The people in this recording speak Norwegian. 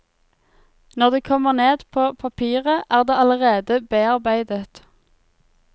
Når det kommer ned på papiret er det allerede bearbeidet.